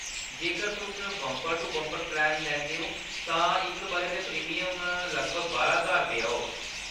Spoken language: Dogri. जेकर तुस बंपर-टू-बंपर प्लैन लैंदे ओ, तां इक बʼरे दा प्रीमियम लगभग बारां ज्हार रुपेऽ होग।